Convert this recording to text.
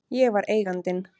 Ég var Eigandinn.